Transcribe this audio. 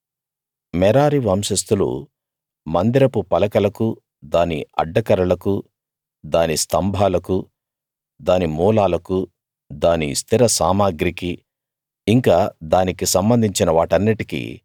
మెరారి వంశస్తులు మందిరపు పలకలకూ దాని అడ్డకర్రలకూ దాని స్తంభాలకూ దాని మూలాలకూ దాని స్థిర సామగ్రికీ ఇంకా దానికి సంబంధిన వాటన్నిటికీ